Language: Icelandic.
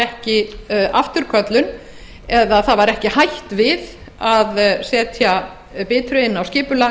ekki afturköllun það var ekki hætt við að setja bitru á skipulag